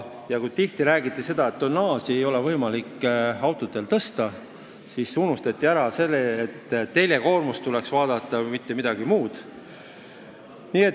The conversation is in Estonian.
Kui tihti on räägitud, et autode tonnaaži ei ole võimalik tõsta, siis on unustatud ära see, et tuleks vaadata teljekoormust, mitte midagi muud.